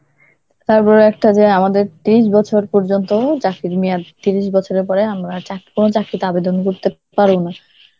তার উপরে একটা যে আমাদের তিরিশ বছর পর্যন্ত চাকরির মেয়াদ, তিরিশ বছরের পরে আমরা আর চাকরি~ কোন চাকরিতে আবেদন করতে পারব না.